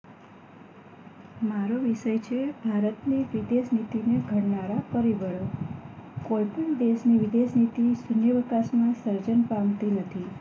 મારો વિષય છે ભારતની વિદેશનિતી ને ઘડનારા પરિબળો કોઈપણ દેશની વિદેશનિતી શુન્યાવકાશ માં સર્જન પામતી નથી